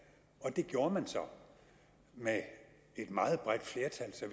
og det gjorde man så med et meget bredt flertal så